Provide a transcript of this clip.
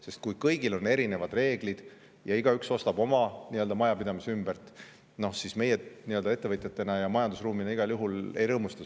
Sest kui kõigil on erinevad reeglid ja igaüks ostab oma nii-öelda majapidamise ümbert, siis meie ettevõtjad ja majandusruum selle üle igal juhul ei rõõmusta.